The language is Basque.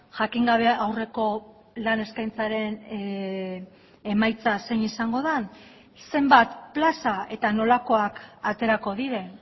jakin gabe aurreko lan eskaintzaren emaitza zein izango den zenbat plaza eta nolakoak aterako diren